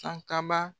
Sankaba